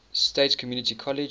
state community college